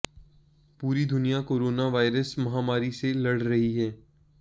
पूरी दुनिया corona virus महामारी से लड़ रही है